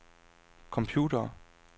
computere